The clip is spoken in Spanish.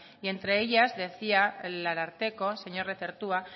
entre ellas decía el ararteko el señor lezertua